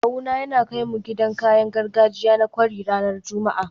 Kawuna yana kai mu gidan kayan gargajiya na kwari ranar Juma'a